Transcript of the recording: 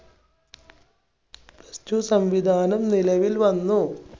plus two സംവിധാനം നിലവിൽ വന്നു.